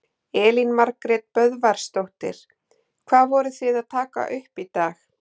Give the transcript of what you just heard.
Elín Margrét Böðvarsdóttir: Hvað voru þið að taka upp í dag?